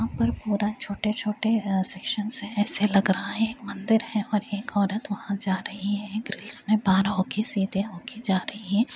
यहाँ पर पूरा अ छोटे-छोटे सेक्शन है । ऐसे लग रहा है एक मंदिर है और एक औरत वहाँ जा रही है दृश्य में होके सीधे होके जा रही है।